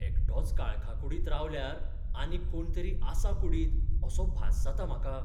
एकटोच काळखा कुडींत रावल्यार आनीक कोण तरी आसा कुडींत असो भास जाता म्हाका.